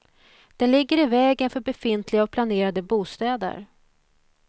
Den ligger i vägen för befintliga och planerade bostäder.